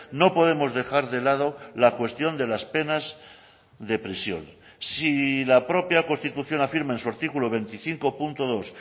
no podemos dejar de lado la cuestión de las penas de prisión si la propia constitución afirma en su artículo veinticinco punto dos